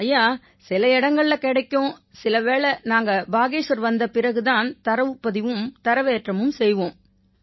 ஐயா சில இடங்கள்ல கிடைக்கும் சில வேளை நாங்க பாகேஷ்வர் வந்த பிறகு தான் தரவுப்பதிவும் தரவேற்றமும் செய்வோம்